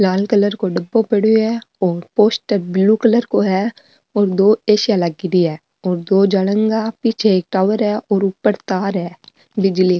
लाल colour को डबो पड़ो है और पोस्टर ब्ल्यू कलर को है और दो एसीया लगेड़ी है और दो जलँगा पिछ एक टॉवर है और ऊपर तार है बिजली --